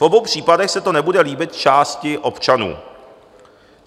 V obou případech se to nebude líbit části občanů.